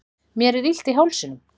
mér er illt í hálsinum